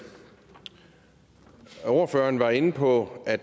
ordføreren var inde på at